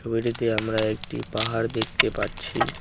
ছবিটিতে আমরা একটি পাহাড় দেখতে পাচ্ছি।